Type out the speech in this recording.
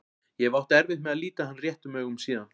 Ég hef átt erfitt með að líta hann réttum augum síðan.